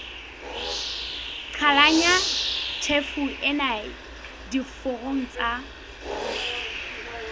qhalanya tjhefo ena diforong tsa